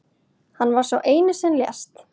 Hann var sá eini sem lést